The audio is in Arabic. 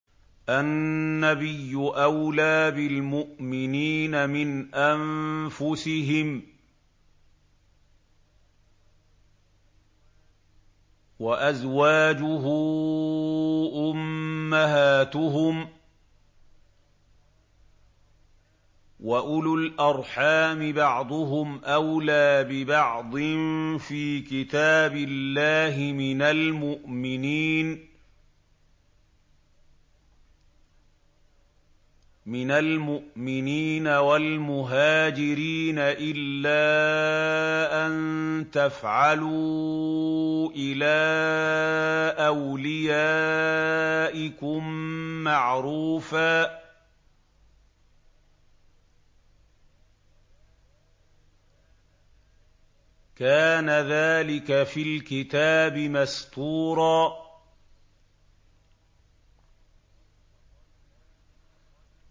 النَّبِيُّ أَوْلَىٰ بِالْمُؤْمِنِينَ مِنْ أَنفُسِهِمْ ۖ وَأَزْوَاجُهُ أُمَّهَاتُهُمْ ۗ وَأُولُو الْأَرْحَامِ بَعْضُهُمْ أَوْلَىٰ بِبَعْضٍ فِي كِتَابِ اللَّهِ مِنَ الْمُؤْمِنِينَ وَالْمُهَاجِرِينَ إِلَّا أَن تَفْعَلُوا إِلَىٰ أَوْلِيَائِكُم مَّعْرُوفًا ۚ كَانَ ذَٰلِكَ فِي الْكِتَابِ مَسْطُورًا